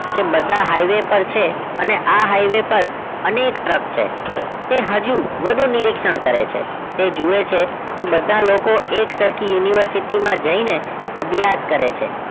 કે બધા highway પર છે અને આ highway પર અનેક truck છે તે હજુ વધુ નિરીક્ષણ કરે છે તે જુએ છે કે બધા લોકો એક સરખી university માં જઈને અભ્યાસ કરે છે